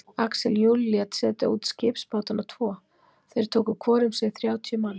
Axel Jul lét setja út skipsbátana tvo, þeir tóku hvor um sig þrjátíu manns.